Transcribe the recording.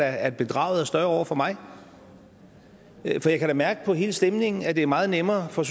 at bedraget er større over for mig for jeg kan da mærke på hele stemningen at det er meget nemmere for